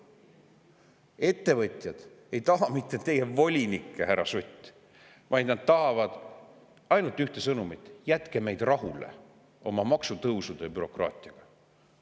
Ettevõtjad ei taha mitte teie volinikke, härra Sutt, vaid nad tahavad ainult ühte, neil on ainult üks sõnum: jätke meid rahule oma maksutõusude ja bürokraatiaga.